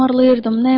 Tumarlayırdım.